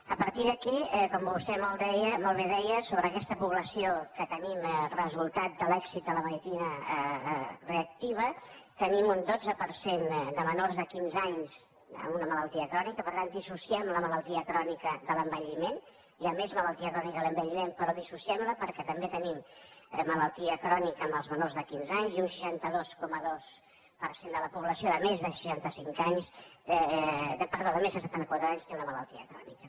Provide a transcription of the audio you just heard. a partir d’aquí com vostè molt bé deia sobre aquesta població que tenim resultat de l’èxit de la medicina reactiva tenim un dotze per cent de menors de quinze anys amb una malaltia crònica per tant dissociem la malaltia crònica de l’envelliment hi ha més malaltia crònica a l’envelliment però dissociem la’n perquè també tenim malaltia crònica en els menors de quinze anys i un seixanta dos coma dos per cent de la població de més de setanta quatre anys té una malaltia crònica